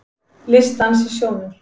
Listdans í sjónum